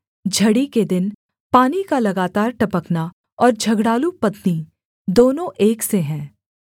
झड़ी के दिन पानी का लगातार टपकना और झगड़ालू पत्नी दोनों एक से हैं